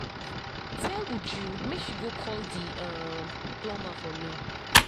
Tell Uju make she go call the um plumber for me